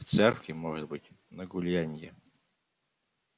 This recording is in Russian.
в церкви может быть на гулянье